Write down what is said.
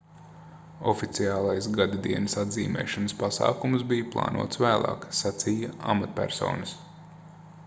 oficiālais gadadienas atzīmēšanas pasākums bija plānots vēlāk sacīja amatpersonas